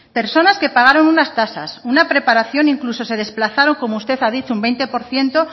personas que pagaron unas tasas una preparación incluso se desplazaron como usted ha dicho un veinte por ciento